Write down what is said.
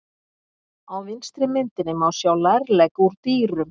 Á vinstri myndinni má sjá lærlegg úr dýrum.